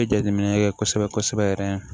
N ye jateminɛ kɛ kosɛbɛ kosɛbɛ yɛrɛ